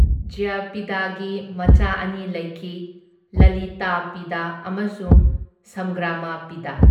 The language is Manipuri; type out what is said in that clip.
ꯖꯌꯄꯤꯗꯥꯒꯤ ꯃꯆꯥ ꯑꯅꯤ ꯂꯩꯈꯤ ꯂꯂꯤꯇꯥꯄꯤꯗ ꯑꯃꯁꯨꯡ ꯁꯝꯒ꯭ꯔꯥꯃꯄꯤꯗ꯫